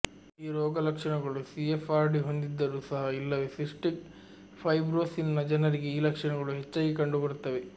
ಈ ರೋಗಲಕ್ಷಣಗಳು ಸಿಎಫ್ಆರ್ಡಿ ಹೊಂದಿದ್ದರೂ ಸಹ ಇಲ್ಲವೇ ಸಿಸ್ಟಿಕ್ ಫೈಬ್ರೋಸಿಸ್ನ ಜನರಿಗೆ ಈ ಲಕ್ಷಣಗಳು ಹೆಚ್ಚಾಗಿ ಕಂಡುಬರುತ್ತವೆ